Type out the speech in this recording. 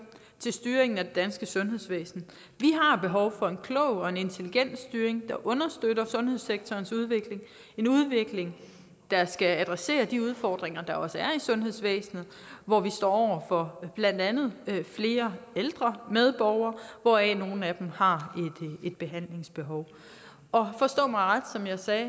til styringen af det danske sundhedsvæsen vi har behov for en klog og en intelligent styring der understøtter sundhedssektorens udvikling en udvikling der skal adressere de udfordringer der også er i sundhedsvæsenet hvor vi står for blandt andet flere ældre medborgere hvoraf nogle af dem har et behandlingsbehov forstå mig ret som jeg sagde